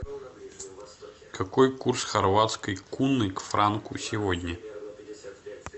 какой курс хорватской куны к франку сегодня